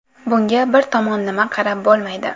Bunga bir tomonlama qarab bo‘lmaydi.